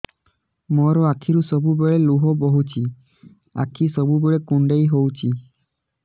ମୋର ଆଖିରୁ ସବୁବେଳେ ଲୁହ ବୋହୁଛି ଆଖି ସବୁବେଳେ କୁଣ୍ଡେଇ ହଉଚି